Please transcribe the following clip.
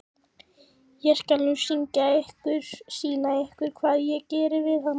Ég skal nú sýna ykkur hvað ég geri við hana!